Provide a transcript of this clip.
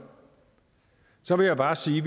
så vil jeg bare sige